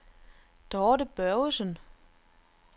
Dorthe Børgesen